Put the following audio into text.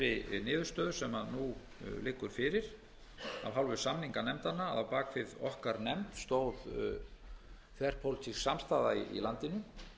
þeirri niðurstöðu sem nú liggur fyrir af hálfu samninganefndanna að á bak við okkar nefnd stóð þverpólitísk samstaða í landinu